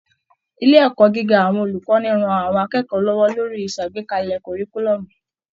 Ilé ẹ̀kọ́ gíga àwọn olùkọ́ni ran àwọn akẹ́kọ̀ọ́ lọ́wọ́ lórí ìṣàgbékalẹ̀ kọ̀ọ̀ríkúlọ́ọ̀mù